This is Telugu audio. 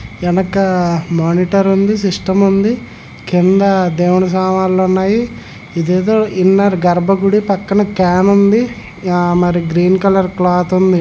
ఎనక మానిటర్ ఉంది. సిస్టం ఉంది. కింద దేవుని సామాన్లు ఉన్నాయి. ఇదేదో గర్భగుడి పక్కన క్యాన్ ఉంది. మరియు గ్రీన్ కలర్ క్లాత్ ఉంది.